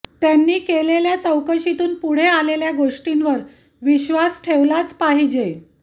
त्यांनी केलेल्या चौकशीतून पुढे आलेल्या गोष्टींवर विश्वास ठेवलाच पाहिजे